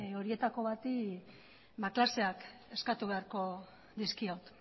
horietako bati klaseak eskatu beharko dizkiot